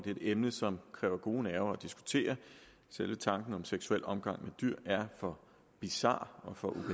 er et emne som kræver gode nerver at diskutere selve tanken om seksuel omgang med dyr er for bizar og for